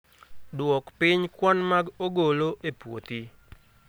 Dwok piny kwan mag ogolo e puothi